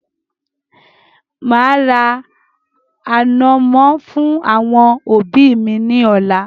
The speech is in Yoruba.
Màá ra ànọ̀mọ́ fún àwọn òbí mi ní ọ̀la.